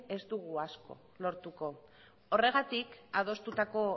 ez dugu asko lortuko horregatik adostutako